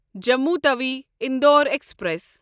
Jammu Tawi Indore express